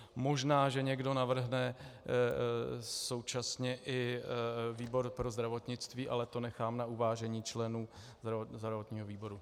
Možná že někdo navrhne současně i výbor pro zdravotnictví, ale to nechám na uvážení členů zdravotního výboru.